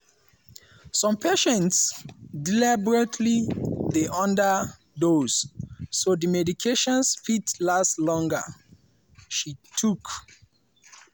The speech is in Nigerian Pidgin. “some patients deliberately dey under-dose so di medications fit last longer” she tok.